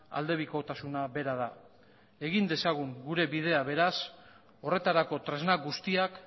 aldebikotasuna bera da egin dezagun gure bidea beraz horretarako tresna guztiak